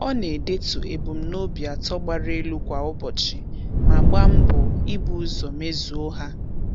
Ọ na-edetu ebumnobi atọ gbara elu kwa ụbọchị ma gba mbọ ị bu ụzọ mezuo ha.